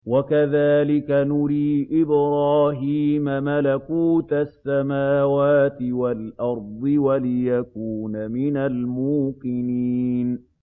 وَكَذَٰلِكَ نُرِي إِبْرَاهِيمَ مَلَكُوتَ السَّمَاوَاتِ وَالْأَرْضِ وَلِيَكُونَ مِنَ الْمُوقِنِينَ